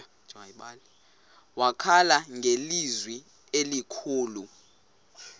wakhala ngelizwi elikhulu